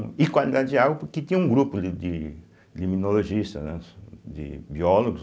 E qualidade de água porque tinha um grupo de de limnologistas, né de biólogos,